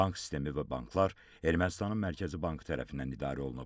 Bank sistemi və banklar Ermənistanın Mərkəzi Bankı tərəfindən idarə olunub.